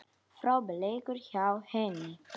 Frábær leikur hjá henni.